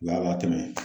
Wa tɛmɛ